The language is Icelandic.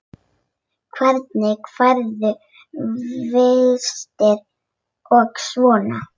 Hvernig færðu vistir og svona?